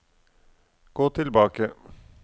gå tilbake